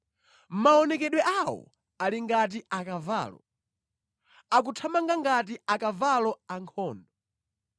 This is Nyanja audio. Maonekedwe awo ali ngati akavalo; akuthamanga ngati akavalo ankhondo.